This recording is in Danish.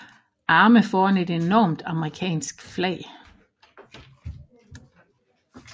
Arme foran et enormt amerikansk flag